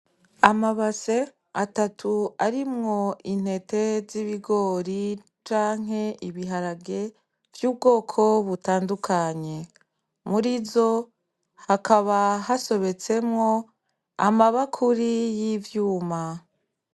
Amabase atatu arimwo intete z'ibigori canke ibiharage vy'ubwoko butandukanye, muri zo hakaba hasobetsemwo amabakuri y'ivyuma.